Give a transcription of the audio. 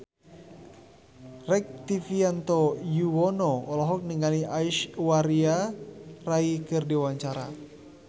Rektivianto Yoewono olohok ningali Aishwarya Rai keur diwawancara